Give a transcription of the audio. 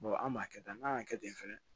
an b'a kɛ tan n'an y'a kɛ ten fɛnɛ